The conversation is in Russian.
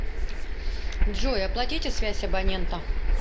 джой оплатите связь абонента